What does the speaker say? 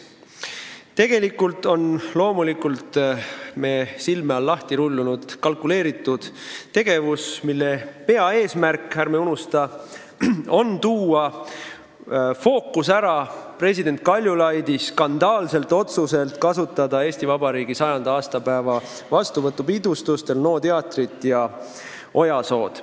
Tegelikult on loomulikult me silme all lahti rullunud kalkuleeritud tegevus, mille peaeesmärk, ärme unustame, on tuua fookus ära president Kaljulaidi skandaalselt otsuselt kasutada Eesti Vabariigi 100. aastapäeva vastuvõtupidustustel NO teatrit ja Ojasood.